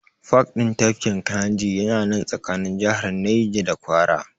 Pak ɗin tafkin Kayinji ya na nan tsakanin jihar Naja da Kwara